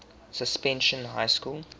suspension high school